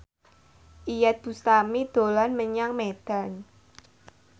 Iyeth Bustami dolan menyang Medan